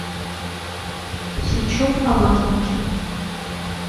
сычев об азбуке